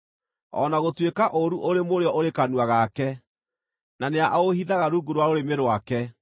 “O na gũtuĩka ũũru ũrĩ mũrĩo ũrĩ kanua gake, na nĩaũhithaga rungu rwa rũrĩmĩ rwake,